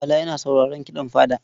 Bala yana sauraron kiɗan fada.